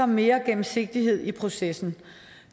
mere gennemsigtighed i processen